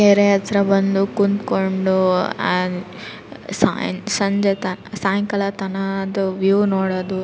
ಕೆರೆ ಹತ್ರ ಬಂದು ಕುಂತ್ಕೊಂಡು ಸಾಯ ಸಂಜೆತ ಸಾಯಂಕಾಲ ತರ ವ್ಯೂ ನೋಡೋದು --